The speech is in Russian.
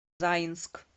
заинск